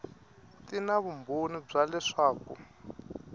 ti na vumbhoni bya leswaku